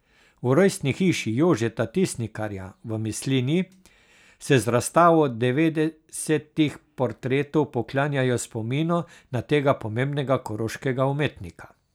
V rojstni hiši Jožeta Tisnikarja v Mislinji se z razstavo devetdesetih portretov poklanjajo spominu na tega pomembnega koroškega umetnika.